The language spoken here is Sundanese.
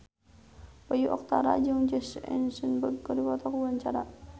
Bayu Octara jeung Jesse Eisenberg keur dipoto ku wartawan